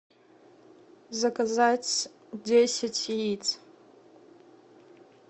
заказать десять яиц